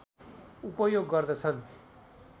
उपयोग गर्दछन्